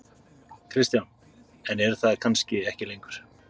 Kristján: En eru það kannski ekki lengur?